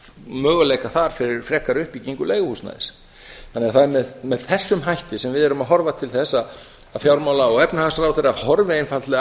möguleika þar fyrir frekari uppbyggingu leiguhúsnæðis það er því með þessum hætti sem við erum að horfa til þess að fjármála og efnahagsráðherra horfi einfaldlega